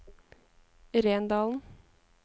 Rendalen